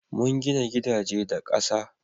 mun gina gidaje da ƙasa